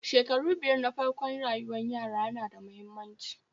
shekaru biyar na farkon rayuwar yara yana da muhimmanci